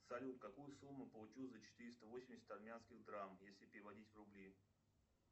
салют какую сумму получу за четыреста восемьдесят армянских драм если переводить в рубли